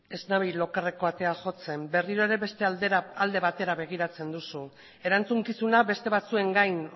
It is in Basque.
ez nabil okerreko atea jotzen berriro ere beste alde batera begiratzen duzu erantzukizuna beste batzuen gain